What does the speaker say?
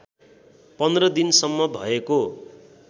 १५ दिनसम्म भएको